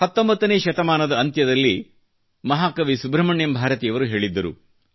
19 ನೇ ಶತಮಾನದ ಅಂತ್ಯದಲ್ಲಿ ಮಹಾಕವಿ ಸುಬ್ರಹ್ಮಣ್ಯಂ ಭಾರತಿಯವರು ಹೇಳಿದ್ದರು